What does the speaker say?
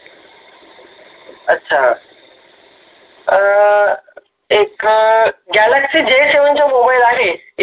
अच्छा अ एक Galaxy J seven च मोबाईल आहे